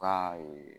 Aa ee